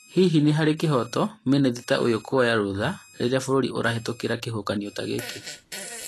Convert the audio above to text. Hihi nĩ harĩ kĩhooto mĩnĩthita ũyũ kũoya rũtha riria bũrũri ũrahetũkĩra kĩhuhũkanio ta gĩkĩ?